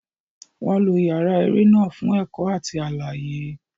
Wọn lo yàrá eré náà fún ẹ̀kọ́ àti àlàyé.